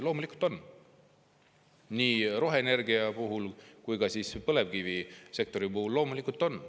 Loomulikult on, nii roheenergial kui ka põlevkivisektoril neid loomulikult on.